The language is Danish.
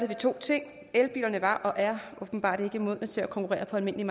vi to ting elbilerne var og er åbenbart ikke modne til at konkurrere på almindelige